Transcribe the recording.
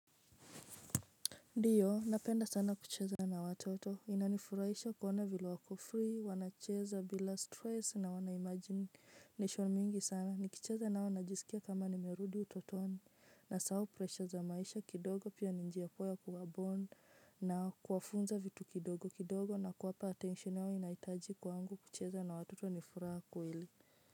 Ndiyo napenda sana kucheza na watoto inanifurahisha kuona vila wako free wanacheza bila stress na wanaimagination mingi sana nikicheza nao najisikia kama nimerudi utotoni nasao pressure za maisha kidogo pia ninjia poa ya kuwa bond na kuwafunza vitu kidogo kidogo na kuwapa attention yao inaitaji kwangu kucheza na watoto nifuraha kweli.